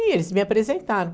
E eles me apresentaram.